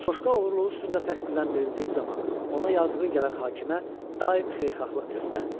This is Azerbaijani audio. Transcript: Coşqa oğurluğu üstündə təqsirləndirildiyi zaman ona yazığı gələn hakimə daim xeyirxahlıq göstərdi.